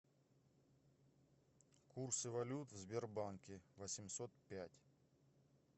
курсы валют в сбербанке восемьсот пять